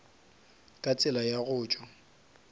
ka tsela ya go tšwa